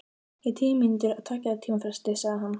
Í tíu mínútur á tveggja tíma fresti, sagði hann.